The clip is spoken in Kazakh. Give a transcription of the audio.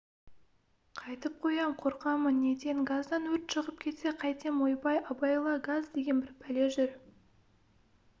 қайтіп қоям қорқамын неден газдан өрт шығып кетсе қайтем ойбай абайла газ деген бір пәле жүр